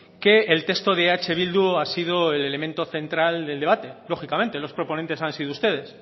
que el texto de eh bildu ha sido el elemento central del debate lógicamente los proponentes han sido ustedes